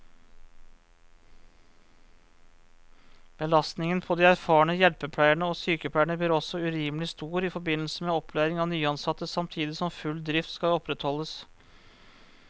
Belastningen på de erfarne hjelpepleierne og sykepleierne blir også urimelig stor i forbindelse med opplæring av nyansatte, samtidig som full drift skal opprettholdes.